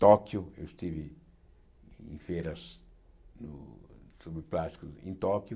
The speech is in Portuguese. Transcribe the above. Tóquio, eu estive em feiras sobre plástico em Tóquio.